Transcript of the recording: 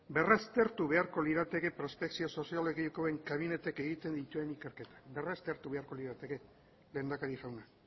berraztertu beharko lirateke prospekzio soziologikoen kabineteek egiten duten ikerketak berraztertu beharko lirateke lehendakari jauna